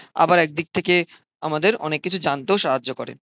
আবার এক দিক থেকে আমাদের অনেক কিছু জানতেও সাহায্য করে।